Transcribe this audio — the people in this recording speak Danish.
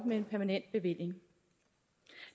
med en permanent bevilling